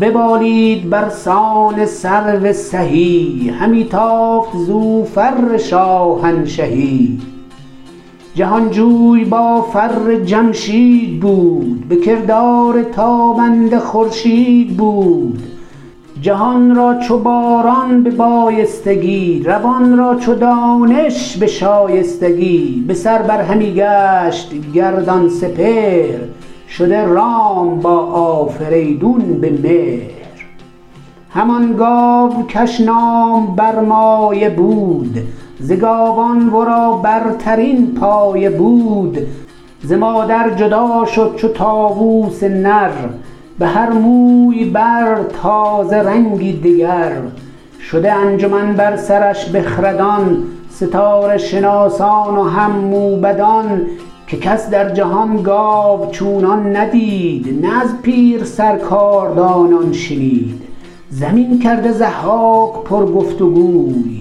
ببالید برسان سرو سهی همی تافت زو فر شاهنشهی جهانجوی با فر جمشید بود به کردار تابنده خورشید بود جهان را چو باران به بایستگی روان را چو دانش به شایستگی بسر بر همی گشت گردان سپهر شده رام با آفریدون به مهر همان گاو کش نام برمایه بود ز گاوان ورا برترین پایه بود ز مادر جدا شد چو طاووس نر بهر موی بر تازه رنگی دگر شده انجمن بر سرش بخردان ستاره شناسان و هم موبدان که کس در جهان گاو چونان ندید نه از پیرسر کاردانان شنید زمین کرده ضحاک پر گفت و گوی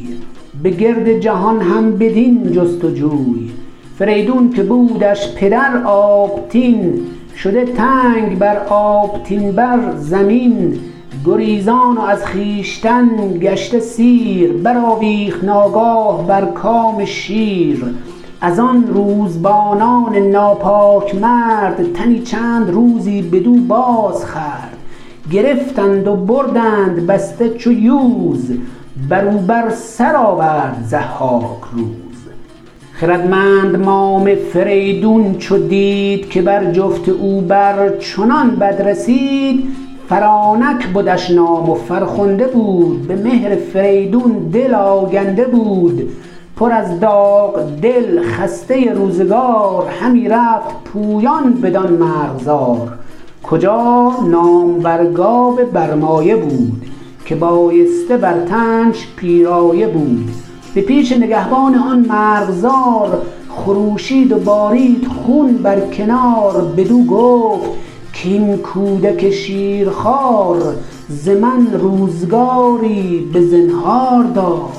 به گرد جهان هم بدین جست و جوی فریدون که بودش پدر آبتین شده تنگ بر آبتین بر زمین گریزان و از خویشتن گشته سیر برآویخت ناگاه بر کام شیر از آن روزبانان ناپاک مرد تنی چند روزی بدو باز خورد گرفتند و بردند بسته چو یوز برو بر سر آورد ضحاک روز خردمند مام فریدون چو دید که بر جفت او بر چنان بد رسید فرانک بدش نام و فرخنده بود به مهر فریدون دل آگنده بود پر از داغ دل خسته روزگار همی رفت پویان بدان مرغزار کجا نامور گاو برمایه بود که بایسته بر تنش پیرایه بود به پیش نگهبان آن مرغزار خروشید و بارید خون بر کنار بدو گفت کاین کودک شیرخوار ز من روزگاری بزنهار دار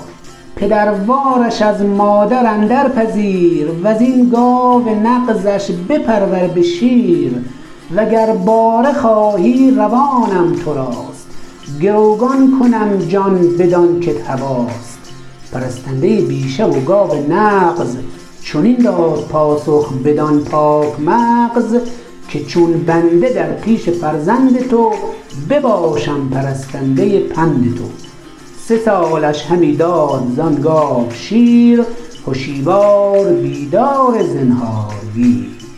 پدروارش از مادر اندر پذیر وزین گاو نغزش بپرور به شیر و گر باره خواهی روانم تراست گروگان کنم جان بدان کت هواست پرستنده بیشه و گاو نغز چنین داد پاسخ بدان پاک مغز که چون بنده در پیش فرزند تو بباشم پرستنده پند تو سه سالش همی داد زان گاو شیر هشیوار بیدار زنهارگیر